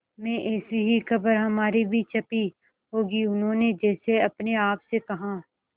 में ऐसी ही खबर हमारी भी छपी होगी उन्होंने जैसे अपने आप से कहा